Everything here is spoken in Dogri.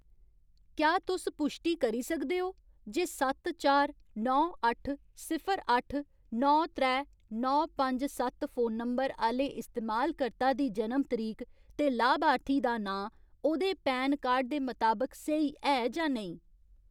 क्या तुस पुश्टी करी सकदे ओ जे सत्त चार नौ अट्ठ सिफर अट्ठ नौ त्रै नौ पंज सत्त फोन नंबर आह्‌ले इस्तेमालकर्ता दी जनम तरीक ते लाभार्थी दा नांऽ ओह्‌दे पैन कार्ड दे मताबक स्हेई ऐ जां नेईं ?